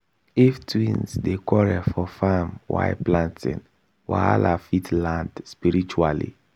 if twins dey quarrel for farm while planting wahala fit land spiritually